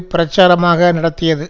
பிரச்சாரமாக நடத்தியது